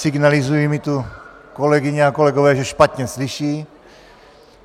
Signalizují mi tu kolegyně a kolegové, že špatně slyší.